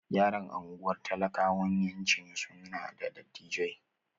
Yaran unguwar talakawayawanci su na da datti.